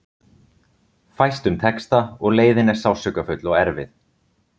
Fæstum tekst það og leiðin er sársaukafull og erfið.